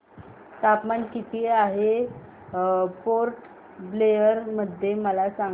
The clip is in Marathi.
तापमान किती आहे पोर्ट ब्लेअर मध्ये मला सांगा